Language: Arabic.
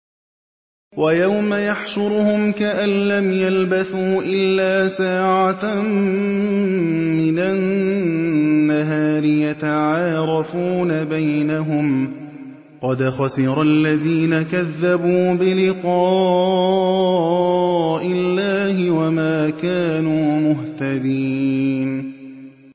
وَيَوْمَ يَحْشُرُهُمْ كَأَن لَّمْ يَلْبَثُوا إِلَّا سَاعَةً مِّنَ النَّهَارِ يَتَعَارَفُونَ بَيْنَهُمْ ۚ قَدْ خَسِرَ الَّذِينَ كَذَّبُوا بِلِقَاءِ اللَّهِ وَمَا كَانُوا مُهْتَدِينَ